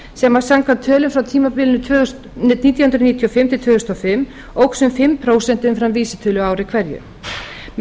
sem samkvæmt tölum frá tímabilinu nítján hundruð níutíu og fimm til tvö þúsund og fimm óx um fimm prósent umfram vísitölu á ári hverju með